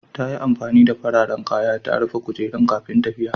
Ta yi amfani da fararen kaya ta rufe kujerun kafin tafiya.